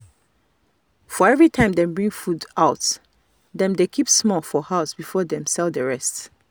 for every time dem bring food out dem dey keep small for house before dem sell the rest.